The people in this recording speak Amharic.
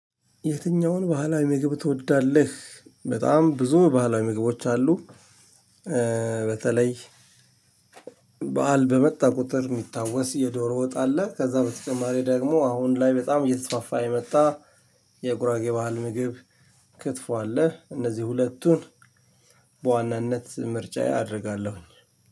የትኛውን ባህላዊ ምግብ ትወዳለህ? በጣም ብዙ ባህላዊ ምግቦች አሉ። በተለይ በዓል በመጣ ቁጥር የሚታወስ የዶሮ ወጥ አለ። ከዛ በተጨማሪ ደግሞ አሁን ላይ በጣም እየተስፋፋ የመጣ የጉራጌ ባህል ምግብ ክትፎ አለ። እነዚህ ሁለቱን በዋናነት ምርጫዬ ያደርጋለሁ።